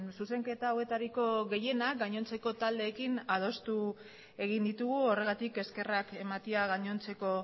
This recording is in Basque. zuzenketa hauetariko gehienak gainontzeko taldeekin adostu egin ditugu horregatik eskerrak ematea gainontzeko